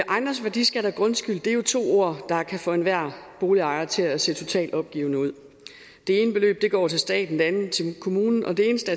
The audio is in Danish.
ejendomsværdiskat og grundskyld er to ord der kan få enhver boligejer til at se totalt opgivende ud det ene beløb går til staten det andet til kommunen og det eneste